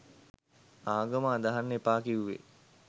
ආගම අදහන්න එපා කිවුවෙ